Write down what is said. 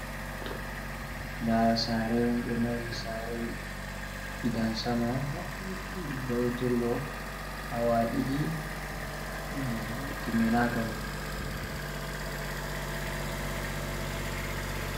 Nda sare on. Ɓe mahi sare gidan sama vaiturgo hawa ɗiɗi bana timinaka ni.